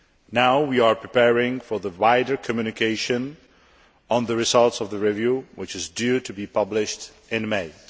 Now, we are preparing for the wider communication on the results of the review, which is due to be published in May.